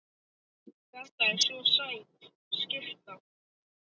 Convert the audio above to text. Þetta er svo sæt skyrta.